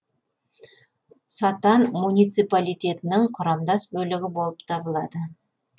сатан муниципалитетінің құрамдас бөлігі болып табылады